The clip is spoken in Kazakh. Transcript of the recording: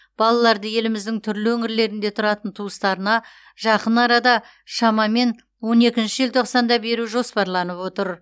балаларды еліміздің түрлі өңірлерінде тұратын туыстарына жақын арада шамамен он екінші желтоқсанда беру жоспарланып отыр